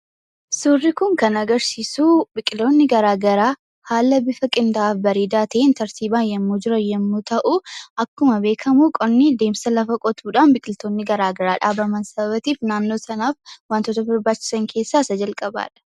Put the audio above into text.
Suurri kun kan agarsiisu biqiloonni garaagaraa haala bifa qindaa'aa fi bareedaa ta'een tartiibaan yommuu jiran yommuu ta'u, akkuma beekamu qonni deemsa lafa qotuudhaan biqiltoonni garaagaraa dhaabaman sababa ta'eef naannoo sanaaf wantoota barbaachisan keessaa isa jalqabaa dha.